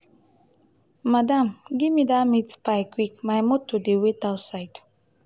madam gimme dat meat pie quick my motor dey wait outside.